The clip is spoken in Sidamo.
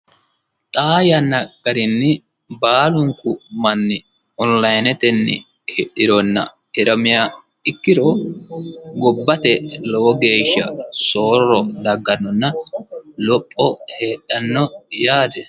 xaa yanna garinni baalunku manni onlinetenni hidhironna hiramiha ikkiro gobbate lowo geeshsha soorro daggannonna lopho heedhanno yaate.